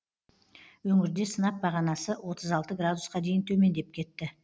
өңірде сынап бағанасы отыз алты градусқа дейін төмендеп кетті